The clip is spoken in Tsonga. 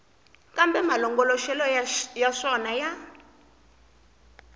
kambe malongoloxelo ya swona ya